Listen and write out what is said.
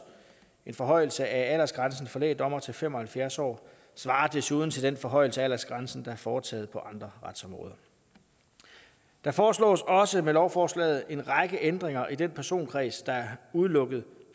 en forhøjelse af aldersgrænsen for lægdommere til fem og halvfjerds år svarer desuden til den forhøjelse af aldersgrænsen der er foretaget på andre retsområder der foreslås også med lovforslaget en række ændringer i den personkreds der er udelukket